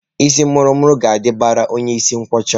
Isii muru muru ga-adabara onye isi nkwọcha